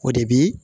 O de bi